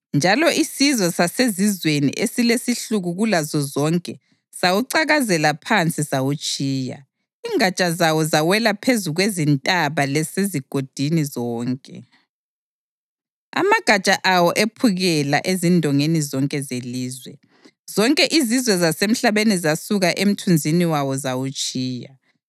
njalo isizwe sasezizweni esilesihluku kulazo zonke sawucakazela phansi sawutshiya. Ingatsha zawo zawela phezu kwezintaba lasezigodini zonke, amagatsha awo ephukela ezindongeni zonke zelizwe. Zonke izizwe zasemhlabeni zasuka emthunzini wawo zawutshiya.